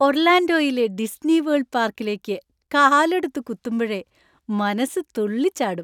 ഒർലാൻഡോയിലെ ഡിസ്നിവേൾഡ് പാർക്കിലേക്ക് കാലെടുത്തു കുത്തുമ്പഴേ മനസ്സ് തുള്ളിച്ചാടും.